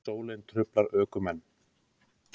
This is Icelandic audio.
Sólin truflar ökumenn